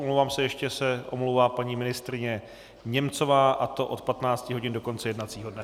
Omlouvám se, ještě se omlouvá paní ministryně Němcová, a to do 15 hodin do konce jednacího dne.